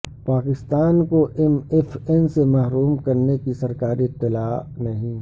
پاکستان کو M F N سے محروم کرنے کی سرکاری اطلاع نہیں